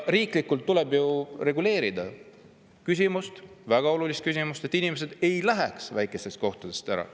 Riiklikult tuleb reguleerida seda väga olulist küsimust, et inimesed ei läheks väikestest kohtadest ära.